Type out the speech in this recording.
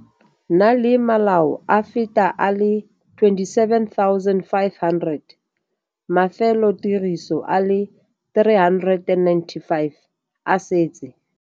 Na le malao a feta a le 27 500. Mafelotiriso a le 395 a setse.